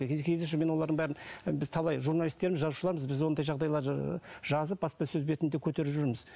мен олардың бәрін біз талай журналистерміз жазушылармыз біз ондай жағдайларды ы жазып баспасөз бетінде көтеріп жүрміз